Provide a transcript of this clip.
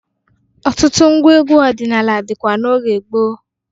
Ọtụtụ ngwa egwu ọdịnala dịkwa n'oge gboo.